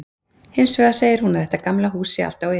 Hins vegar segir hún að þetta gamla hús sé allt á iði.